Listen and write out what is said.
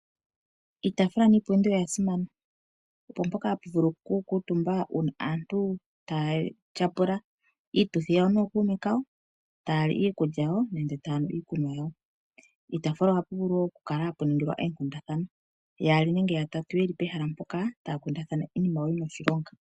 Iitafula niipundi oya simana, opo mpoka hapu vulu okukutumba uuna aantu taya tyapula iituthi yawo nookuume kawo. Taya li iikulya yawo nenge taya nu iikunwa yawo. Piitafula ohapu vulu wo okukala hapu ningilwa oonkundana, yaali nenge ya tatu ye li pehala mpoka taya kundathana iinima yawo yi na oshilonga.